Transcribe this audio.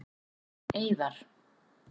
Eiðar